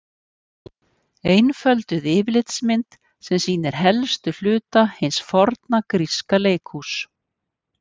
Einfölduð yfirlitsmynd sem sýnir helstu hluta hins forna gríska leikhúss.